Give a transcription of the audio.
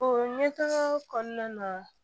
O ɲɛtaga kɔnɔna na